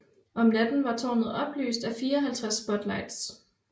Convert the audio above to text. Om natten var tårnet oplyst af 54 spotlights